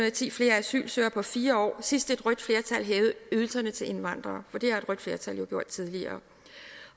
og ti flere asylsøgere på fire år sidst et rødt flertal hævede ydelserne til indvandrere for det har et rødt flertal jo gjort tidligere